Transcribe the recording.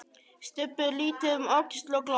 Stubbur lítur um öxl og glottir.